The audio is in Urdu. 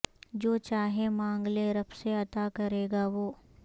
جو چاہے مانگ لے رب سے عطا کریگا وہ